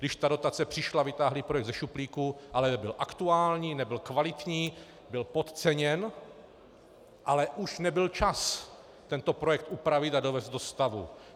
Když ta dotace přišla, vytáhli projekt ze šuplíku, ale nebyl aktuální, nebyl kvalitní, byl podceněn, ale už nebyl čas tento projekt upravit a dovést do stavu.